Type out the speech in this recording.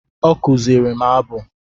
Ọ kụziri m abụ